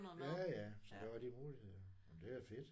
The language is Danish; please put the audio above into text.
Ja ja så der var de muligheder. Nåh men det er da fedt